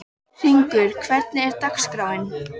Hringur, hvernig er dagskráin?